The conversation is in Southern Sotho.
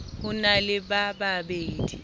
ho na le ba babe